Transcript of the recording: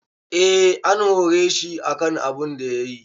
Eh an hore shi akan abunda yayi.